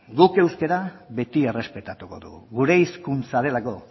guk euskara beti errespetatuko dugu gure hizkuntza delako